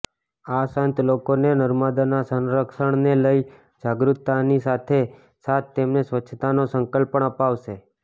આ સંત લોકોને નર્મદાના સંરક્ષણને લઇ જાગૃતતાની સાથો સાથ તેમને સ્વચ્છતાનો સંકલ્પ પણ અપાવશે